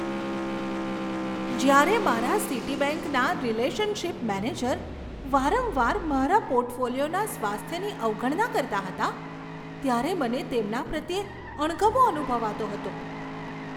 જ્યારે મારા સિટીબેંકના રિલેશનશીપ મેનેજર વારંવાર મારા પોર્ટફોલિયોના સ્વાસ્થ્યની અવગણના કરતા હતા ત્યારે મને તેમના પ્રત્યે અણગમો અનુભવાતો હતો.